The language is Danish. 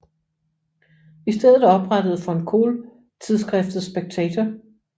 I stedet oprettede von Kohl tidsskriftet Spectator